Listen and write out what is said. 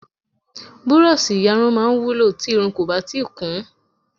Burọ̀ṣì iyarun máa ń wúlò tí irun kò bá tíì kún